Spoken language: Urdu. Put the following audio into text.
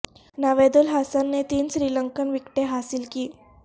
نوید الحسن نے تین سری لنکن وکٹیں حاصل کیں